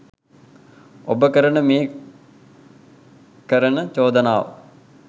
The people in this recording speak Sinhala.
ඔබ කරන මේ කරන චෝදනාව